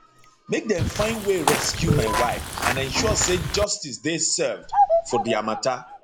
make dem find way rescue my wife and ensure say justice dey served for dia mata